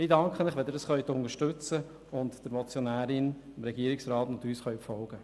Ich danke Ihnen, wenn Sie das unterstützen und der Motionärin, dem Regierungsrat und uns folgen.